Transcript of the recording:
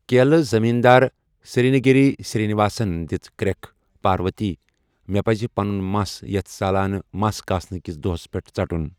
کیلہٕ زٔمیٖن دار، سِرٛنٛگیری سِرٛی نِواسن دِژ کرٛٮ۪کھ، پارؤتی، مےٚ پَزِ پنُن مَس یَتھ سالانہٕ مَس کاسنہٕ کِس دۄہس پٮ۪ٹھ ژَٹُن۔